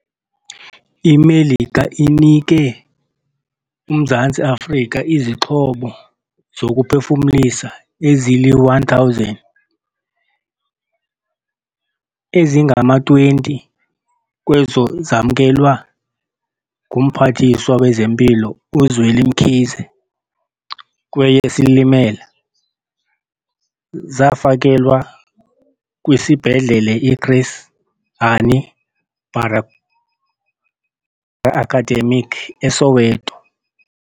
IMelika inike uMzantsi Afrika izixhobo zokuphefumlisa ezili-1 000, ezingama-20 kwezo zamkelwa nguMphathiswa wezeMpilo uZweli Mkhize kweyeSilimela. Zafakelwa kwiSibhedlele i-Chris Hani Bara Academic e-Soweto.